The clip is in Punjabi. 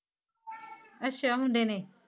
ਅੱਛਾ ਹੁੰਦੇ ਨੇ